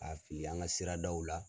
K'a fili an ka siradaw la.